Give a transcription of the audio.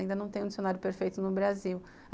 Ainda não tem um dicionário perfeito no Brasil.